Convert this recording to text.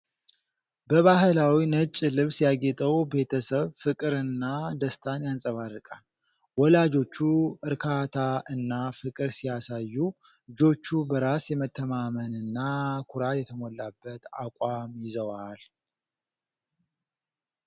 በባሕላዊ ነጭ ልብስ ያጌጠው ቤተሰብ ፍቅርና ደስታን ያንጸባርቃል። ወላጆቹ እርካታ እና ፍቅር ሲያሳዩ፣ ልጆቹ በራስ የመተማመንና ኩራት የተሞላበት አቋም ይዘዋል